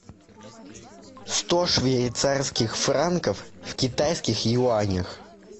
сто швейцарских франков в китайских юанях